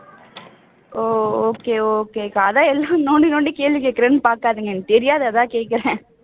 ஓ okay okay க்கா அதான் எதுக்கு நோண்டி நோண்டி கேள்வி கேக்குறேன்னு பாக்காதீங்க எனக்கு தெரியாது அதான் கேக்குறேன்